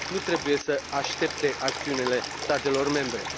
nu trebuie să aștepte acțiunile statelor membre.